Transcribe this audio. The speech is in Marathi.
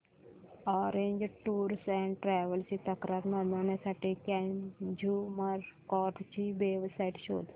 ऑरेंज टूअर्स अँड ट्रॅवल्स ची तक्रार नोंदवण्यासाठी कंझ्युमर कोर्ट ची वेब साइट शोध